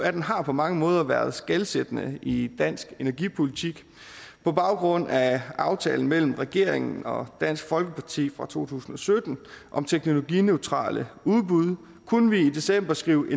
atten har på mange måder været skelsættende i dansk energipolitik på baggrund af aftalen mellem regeringen og dansk folkeparti fra to tusind og sytten om teknologineutrale udbud kunne vi i december skrive